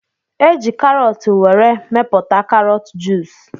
Eji karọt were mepụta karọt juus